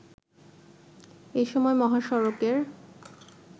এসময় মহাসড়কের